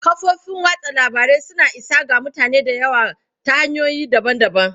Kafofin watsa labarai suna isa ga mutane da yawa ta hanyoyi daban-daban.